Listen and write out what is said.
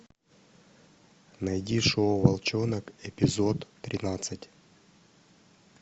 найди шоу волчонок эпизод тринадцать